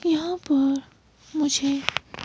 यहां पर मुझे --